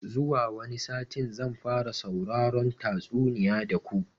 Zuwa wani satin zan fara sauraron tatsuniya da ku